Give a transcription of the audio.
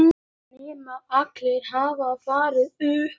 Nema Allen hafi farið upp.